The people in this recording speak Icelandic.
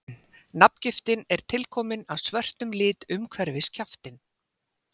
Nafngiftin er tilkomin af svörtum lit umhverfis kjaftinn.